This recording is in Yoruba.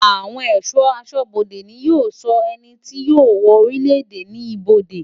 Àwon è̩só̩ asó̩bodè ni ó maa ń so̩ e̩nití yío wo̩ orílèdè ní ibodè.